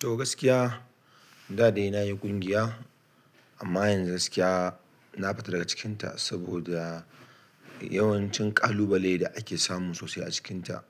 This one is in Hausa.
To gaskiya da dai nayi ƙungiya amma yanzu gaskiya na fita daga cikin ta saboda yawancin ƙalubale da ake samu sosai a cikinta.